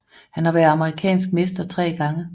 Han har været amerikansk mester tre gange